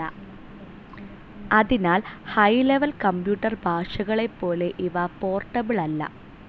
അതിനാൽ high level computer ഭാഷകളെപ്പോലെ ഇവ പോർട്ടബിൾ അല്ല.